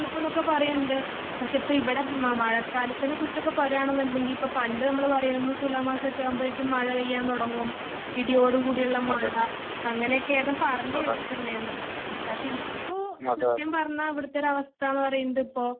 എന്നൊക്കെ പറയുന്നുണ്ട് . പക്ഷേ ഇപ്പോ ഇവിടെ മഴക്കാലത്തിനെ കുറിച്ച് ഒക്കെ പറയാണ് എന്നുണ്ടെങ്കില് ഇപ്പോ പണ്ട് നമ്മള് പറയും തുലാ മാസമൊക്കെ ആകുമ്പോഴേക്കും മഴ പെയ്യാൻ തുടങ്ങും . ഇടിയോട് കൂടിയുള്ള മഴ. അങ്ങനെ ഒക്കെയാണ് പറഞ്ഞ് കേട്ടിട്ട് ഉണ്ടായത്. പക്ഷേ ഇപോ സത്യം പറഞ്ഞാ ഇവിടത്തെ ഒരു അവസ്ഥ എന്ന് പറയുന്നത് ഇപ്പോ